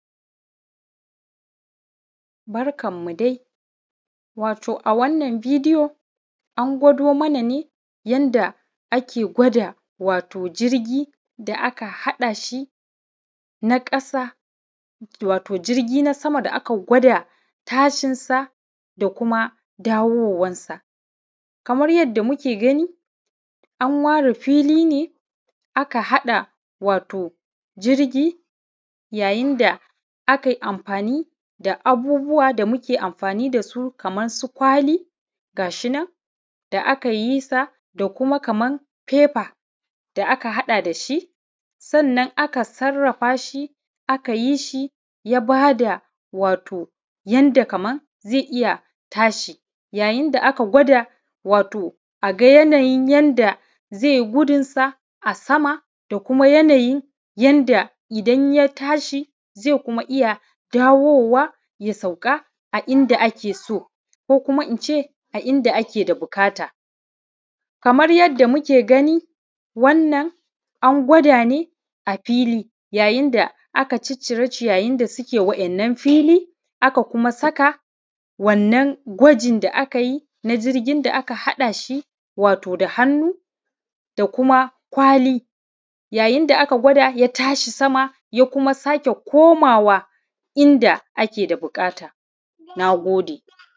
Barkan mu dai, wato a wannan bidiyo, an gwado mana ne, yanda ake gwada wato jirgi da aka haɗa shi na ƙasa, wato jirgi na sama da aka gwada tashin sa, da kuma dawowan sa Kamar yanda muke gani, an ware fili ne, aka haɗa, wato jirgi yayin da a kai amfani da abubuwa da muke amfani da su kaman su kwali, ga shi nan, da aka yi sa, da kuma kaman fefa, da aka haɗa da shi, sannan aka sarrafa shi, aka yi shi, ya ba da, wato yanda kaman ze iya tashi. Yayin da aka gwada, wato a ga yanayin yanda ze yi gudunsa a sama, da kuma yanayin yanda idan ya tashi, ze kuma iya dawowa, ya sauka a inda ake so, ko kuma in ce, a inda ake da bukata. Kamar yadda muke gani, wannan an gwada ne, a fili, yayin da aka ciccire ciyayin da suke wa’yannan fili, aka kuma saka wannan gwajin da aka yi, na jirgin da aka haɗa shi, wato da hannu, da kuma kwali, yayin da aka gwada ya tashi sama, ya kuma sake komawa, inda ake da buƙata, na gode.